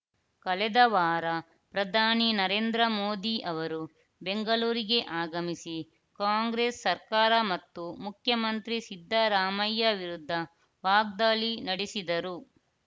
ಕಳೆದ ವಾರ ಪ್ರಧಾನಿ ನರೇಂದ್ರ ಮೋದಿ ಅವರು ಬೆಂಗಳೂರಿಗೆ ಆಗಮಿಸಿ ಕಾಂಗ್ರೆಸ್‌ ಸರ್ಕಾರ ಮತ್ತು ಮುಖ್ಯಮಂತ್ರಿ ಸಿದ್ದರಾಮಯ್ಯ ವಿರುದ್ಧ ವಾಗ್ದಾಳಿ ನಡೆಸಿದ್ದರು